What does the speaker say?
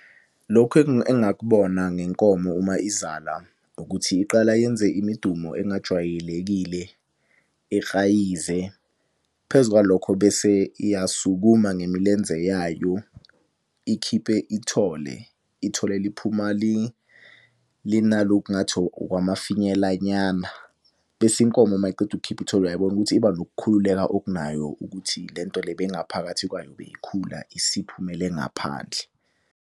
Lokhu engakubona ngenkomo uma izala ukuthi iqala yenze imidumo engajwayelekile, ihayize. Phezu kwalokho bese iyasukuma ngemilenze yayo ikhiphe ithole. Ithole liphuma linalokhu ngathi okwamafinyela nyana. Bese inkomo uma iqeda ukukhipha ithole uyayibona ukuthi iba nokukhululeka okunayo ukuthi le nto le beyingaphakathi kwayo beyikhula isiphumele ngaphandle.